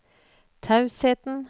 tausheten